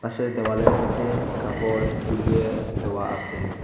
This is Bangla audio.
পাশে দেওয়ালের মইধ্যে কাপড় জুলিয়ে দেওয়া আসে।